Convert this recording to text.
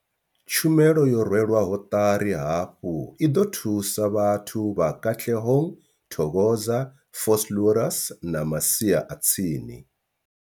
Tshumelo yo rwelwaho ṱari hafhu i ḓo thusa vhathu vha Katlehong, Thokoza, Vosloorus na masia a tsini.